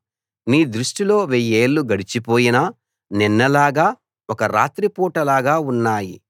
నీ దృష్టిలో వెయ్యేళ్ళు గడిచిపోయిన నిన్నలాగా ఒక రాత్రిపూటలాగా ఉన్నాయి